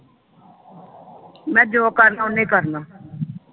ਮੈਂ ਜੋ ਕਰਨਾ ਓਹਨੇ ਕਰਨਾ।